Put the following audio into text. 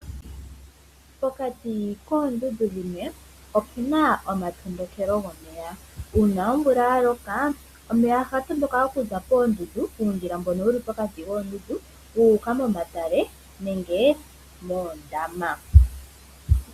Pokati koondundu dhimwe opuna oma tondokelo gomeya. Uuna omvula ya loka omeya ohaga ndoka okuza koondundu puundjila mbono wuli pokati koondundu guuka momatale nenge moondama.